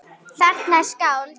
Þarna eru skáld.